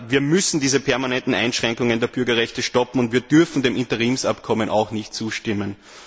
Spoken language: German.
Wir müssen diese permanenten Einschränkungen der Bürgerrechte stoppen, und wir dürfen dem Interimsabkommen auch nicht zustimmen!